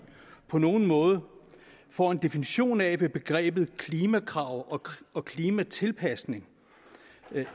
på nogen måde får en definition af hvad begrebet klimakrav og og klimatilpasning